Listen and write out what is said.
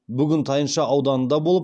бүгін тайынша ауданында болып